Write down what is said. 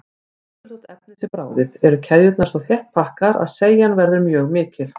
Jafnvel þótt efnið sé bráðið eru keðjurnar svo þétt pakkaðar að seigjan verður mjög mikil.